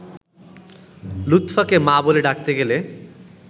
লুৎফাকে ‘মা’ বলে ডাকতে গেলে